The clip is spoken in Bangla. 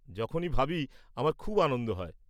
যখনই ভাবি, আমার খুব আনন্দ হয়।